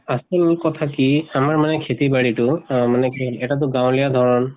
আচল কথা কি আমাৰ মানে খাতি বাৰি টো আহ মানে কি এটা টো গাঁৱলীয়া ধৰণ